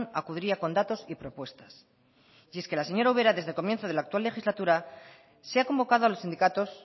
acudiría con datos y propuestas y es que señora ubera desde el comienzo de la actual legislatura se ha convocado a los sindicatos